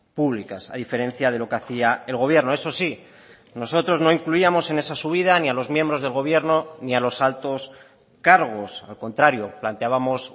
públicas a diferencia de lo que hacía el gobierno eso sí nosotros no incluíamos en esa subida ni a los miembros del gobierno ni a los altos cargos al contrario planteábamos